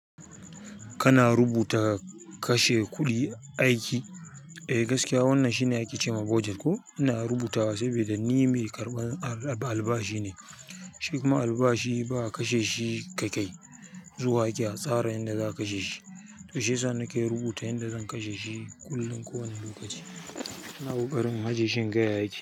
Kana rubuta kashe kuɗi aiki? Eh gaskiya wannan shine ake ce ma budget ko? Ina rubuta wa saboda ni mai karɓan albashi ne. Shi kuma albashi ba a kashe shi ka kai zuwa ake atsara yanda za ka kashe shi. To shi yasa nake rubuta yanda zan kashe shi kullum ko wani lokaci ina ƙoƙarin in ajiye shi inga ya yake.